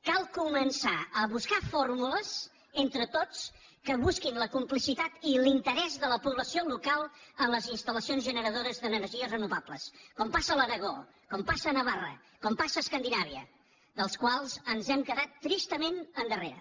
cal començar a buscar fórmules entre tots que busquin la complicitat i l’interès de la població local en les instal·lacions generadores d’energies renovables com passa a l’aragó com passa a navarra com passa a escandinàvia dels quals ens hem quedat tristament endarrere